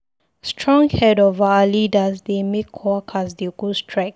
Strong head of our leaders dey make workers dey go strike.